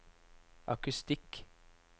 akustikk